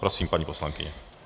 Prosím, paní poslankyně.